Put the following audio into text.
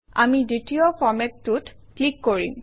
আমি দ্বিতীয় ফৰমেটটোত ক্লিক কৰিম